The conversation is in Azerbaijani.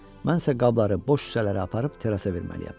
Mən isə qabları, boş şüşələri aparıb terrasa verməliyəm.